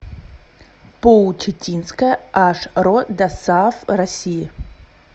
поу читинская аш ро досааф россии